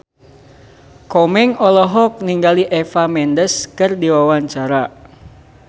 Komeng olohok ningali Eva Mendes keur diwawancara